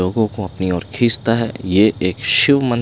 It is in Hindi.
लोगों को अपनी ओर खींचता है ये एक शिव मन--